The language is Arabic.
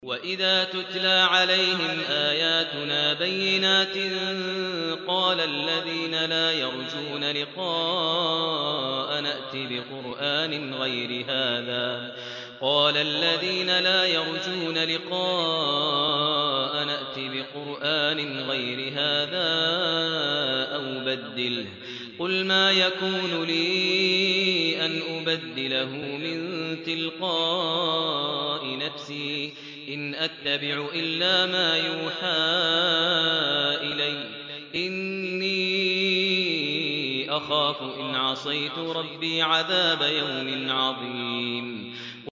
وَإِذَا تُتْلَىٰ عَلَيْهِمْ آيَاتُنَا بَيِّنَاتٍ ۙ قَالَ الَّذِينَ لَا يَرْجُونَ لِقَاءَنَا ائْتِ بِقُرْآنٍ غَيْرِ هَٰذَا أَوْ بَدِّلْهُ ۚ قُلْ مَا يَكُونُ لِي أَنْ أُبَدِّلَهُ مِن تِلْقَاءِ نَفْسِي ۖ إِنْ أَتَّبِعُ إِلَّا مَا يُوحَىٰ إِلَيَّ ۖ إِنِّي أَخَافُ إِنْ عَصَيْتُ رَبِّي عَذَابَ يَوْمٍ عَظِيمٍ